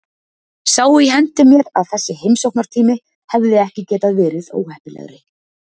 Sá í hendi mér að þessi heimsóknartími hefði ekki getað verið óheppilegri.